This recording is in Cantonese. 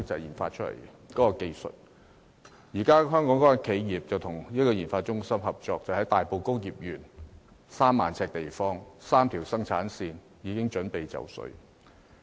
現時該家香港企業與研發中心合作，在大埔工業邨3萬平方呎地方設立的3條生產線已準備就緒。